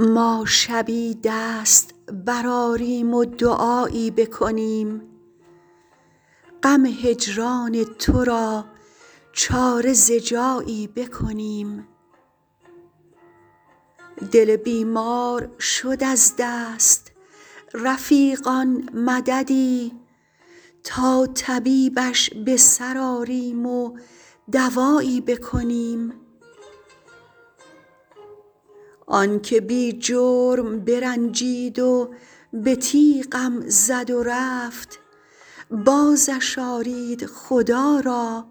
ما شبی دست برآریم و دعایی بکنیم غم هجران تو را چاره ز جایی بکنیم دل بیمار شد از دست رفیقان مددی تا طبیبش به سر آریم و دوایی بکنیم آن که بی جرم برنجید و به تیغم زد و رفت بازش آرید خدا را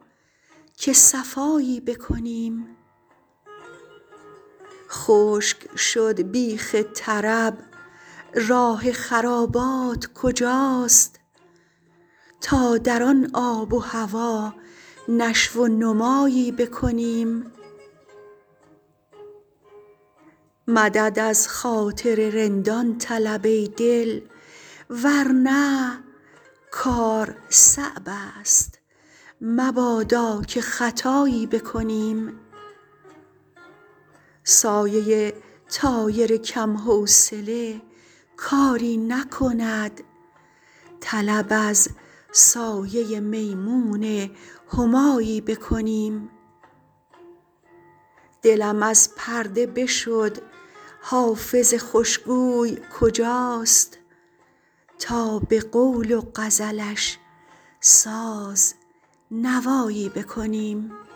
که صفایی بکنیم خشک شد بیخ طرب راه خرابات کجاست تا در آن آب و هوا نشو و نمایی بکنیم مدد از خاطر رندان طلب ای دل ور نه کار صعب است مبادا که خطایی بکنیم سایه طایر کم حوصله کاری نکند طلب از سایه میمون همایی بکنیم دلم از پرده بشد حافظ خوش گوی کجاست تا به قول و غزلش ساز نوایی بکنیم